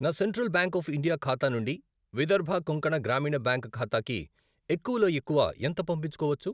నా Central Bank of India ఖాతా నుండి విదర్భ కొంకణ గ్రామీణ బ్యాంక్ ఖాతాకి ఎక్కువలో ఎక్కువ ఎంత పంపించుకోవచ్చు?